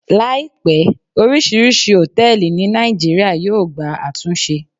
Láìpé, orisirisi hotẹẹli ní nàìjíría yóò gba àtúnṣe